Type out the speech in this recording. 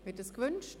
Wird es gewünscht?